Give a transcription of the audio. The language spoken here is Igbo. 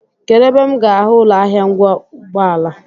Kedụ ebe m ga-ahụ ụlọahịa ngwa ụgbọala?